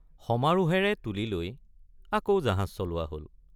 সমাৰোহেৰে তুলিলৈ আকৌ জাহাজ চলোৱা হল।